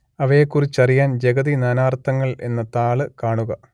അവയെക്കുറിച്ചറിയാന്‍ ജഗതി നാനാര്‍ത്ഥങ്ങള്‍ എന്ന താള് കാണുക